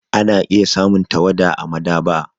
Ana iya samun tawada a maɗaba'a.